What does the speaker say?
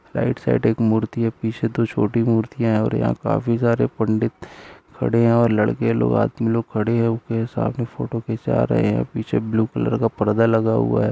Right side एक मूर्ति है पीछे दो छोटी मूर्तियां है और यहाँ काफी सारे पंडित खड़े है और लड़के लोग आदमी लोग खड़े है उनके साथ फोटो खिंचवा रहे है पीछे ब्लू कलर का पर्दा लगा हुआ है।